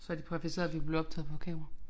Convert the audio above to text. Så havde de præciseret vi blev optaget på kamera